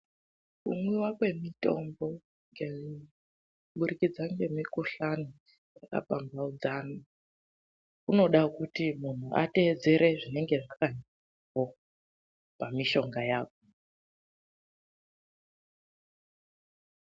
Kumwiwa kwemitombo kuburikidza ngemikhuhlani, kunode kuti muntu atedzere zvinenge zvakanyorwapo pamishonga yacho.